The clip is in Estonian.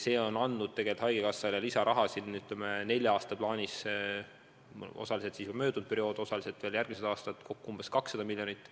See on andnud tegelikult haigekassale lisaraha, ütleme, nelja aasta plaanis – osaliselt siis möödunud periood, osaliselt veel järgmine aasta, kokku umbes 200 miljonit.